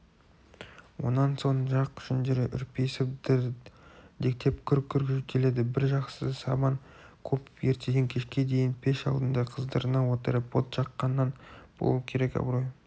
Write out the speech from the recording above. онан соң жақ жүндері үрпиісіп дірдектеп күрк-күрк жөтеледі бір жақсысы сабан көп ертеден кешке дейін пеш алдына қыздырына отырып от жаққаннан болу керек абырой